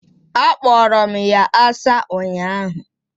Akporo m ya asa ụnyahụ.